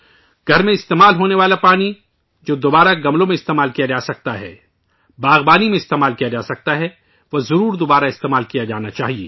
گھر میں استعمال ہونے والا پانی گملوں میں استعمال کیا جا سکتا ہے، باغبانی میں استعمال کیا جا سکتا ہے، اسے ضرور دوبارہ استعمال کرنا چاہیئے